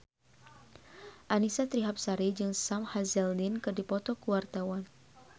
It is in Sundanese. Annisa Trihapsari jeung Sam Hazeldine keur dipoto ku wartawan